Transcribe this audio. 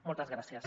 moltes gràcies